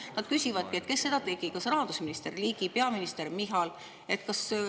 Nad küsivadki, kes seda tegi: kas rahandusminister Ligi või peaminister Michal?